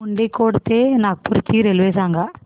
मुंडीकोटा ते नागपूर ची रेल्वे सांगा